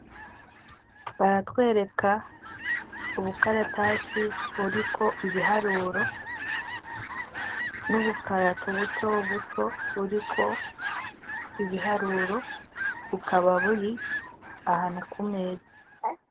Baratwereka ubukaratasi buriko ibiharuro n'ubukarato buto buto buriko ibiharuro, bukaba buri ahantu ku meza.